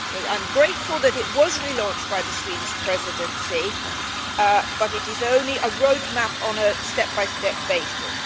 I am grateful that it was relaunched by the Swedish Presidency, but it is only a roadmap on a step by step basis.